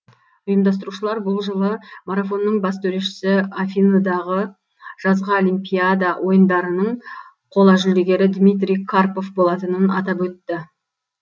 ұйымдастырушылар бұл жылы марафонның бас төрешісі афиныдағы жазғы олимпиада ойындарының қола жүлдегері дмитрий карпов болатынын атап өтті